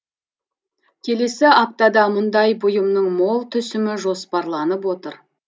келесі аптада мұндай бұйымның мол түсімі жоспарланып отыр